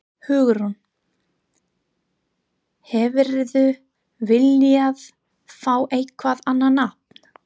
Hugrún: Hefðirðu viljað fá eitthvað annað nafn?